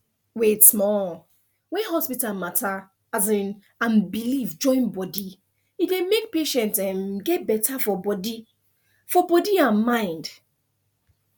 wait small when hospital matter um and belief join body e dey make patient um get better for body for body and mind